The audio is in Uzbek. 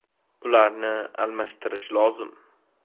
Ularni almashtirish lozim.